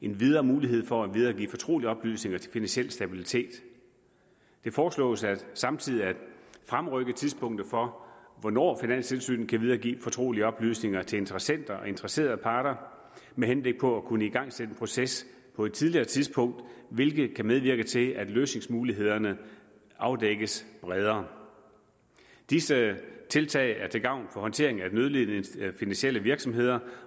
en videre mulighed for at videregive fortrolige oplysninger til finansiel stabilitet det foreslås samtidig at fremrykke tidspunktet for hvornår finanstilsynet kan videregive fortrolige oplysninger til interessenter og interesserede parter med henblik på at kunne igangsætte en proces på et tidligere tidspunkt hvilket kan medvirke til at løsningsmulighederne afdækkes bredere disse tiltag er til gavn for håndteringen af nødlidende finansielle virksomheder